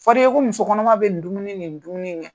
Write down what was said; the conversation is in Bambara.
Fɔdu ye ko muso kɔnɔma bɛ nin dumuni nin dumuni kɛ.